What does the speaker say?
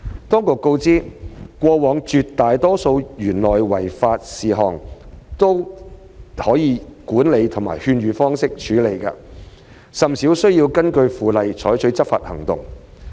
當局告知，過往絕大多數的園內違法事項都能以管理或勸諭方式處理，甚少需要根據《附例》採取執法行動。